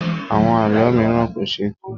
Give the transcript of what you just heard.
Àwọn àlọ mìíràn kò ṣeé tu.